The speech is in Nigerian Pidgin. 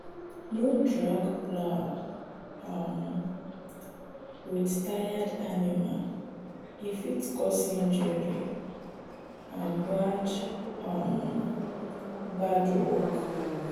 no drag plow um with tired animal e fit cause injury and bad um work.